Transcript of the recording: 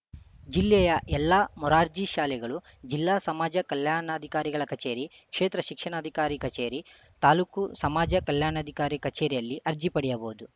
ಜಿಲ್ಲೆಯ ಎಲ್ಲಾ ಮೊರಾರ್ಜಿ ಶಾಲೆಗಳು ಜಿಲ್ಲಾ ಸಮಾಜ ಕಲ್ಯಾಣಾಧಿಕಾರಿಗಳ ಕಚೇರಿ ಕ್ಷೇತ್ರ ಶಿಕ್ಷಣಾಧಿಕಾರಿ ಕಚೇರಿ ತಾಲ್ಲುಕು ಸಮಾಜ ಕಲ್ಯಾಣಾಧಿಕಾರಿ ಕಚೇರಿಯಲ್ಲಿ ಅರ್ಜಿ ಪಡೆಯಬಹುದು